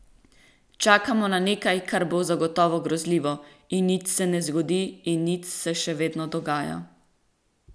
Čakamo na nekaj, kar bo zagotovo grozljivo, in nič se ne zgodi in nič se še vedno dogaja.